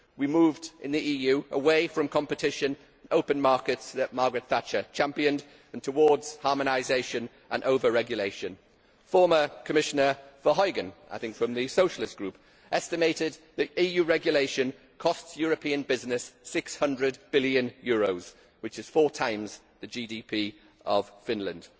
We moved, in the EU, away from competition and the open markets that Margaret Thatcher championed, and towards harmonisation and over regulation. Former Commissioner Verheugen, I think from the Socialist Group, estimated that EU regulation costs European business EUR 600 billion, which is four times the GDP of Finland.